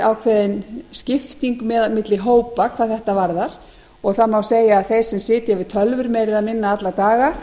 ákveðin skipting milli hópa hvað þetta varðar og það má segja að þeir sem sitja við tölvum meira eða minna alla daga